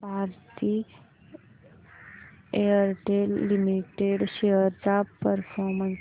Bharti Airtel limited shares चा performance